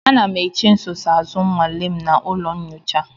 Ana m eche nsonaazụ nnwale m na ụlọ nyocha.